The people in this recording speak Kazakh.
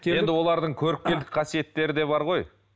енді олардың көріпкелдік қасиеттері де бар ғой